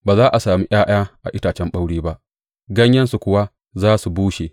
Ba za a sami ’ya’ya a itacen ɓaure ba, ganyayensu kuwa za su bushe.